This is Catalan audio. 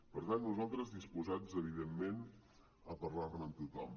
per tant nosaltres disposats evidentment a parlar ne amb tothom